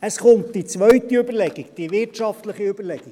Es kommt die zweite Überlegung, die wirtschaftliche Überlegung: